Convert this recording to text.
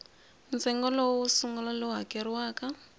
ntsengo wo sungula lowu hakeriwaka